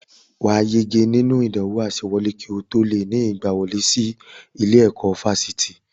Wà á yege nínú ìdánwò àsewọlé kí o tó lè ní ìgbawọlé sí ilé-ẹ̀kọ́ fásitì